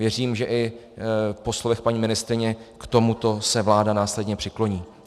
Věřím, že i po slovech paní ministryně k tomuto se vláda následně přikloní.